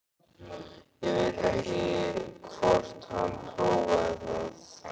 Ég veit ekki hvort hann prófaði það.